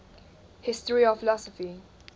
history of philosophy